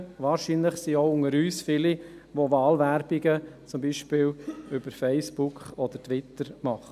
Wahrscheinlich sind auch unter uns viele, die ihre Wahlwerbung zum Beispiel über Facebook oder Twitter machen.